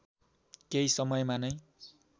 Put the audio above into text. केही समयमा नै